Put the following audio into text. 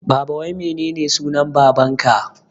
Baba wai menene sunan baban ka?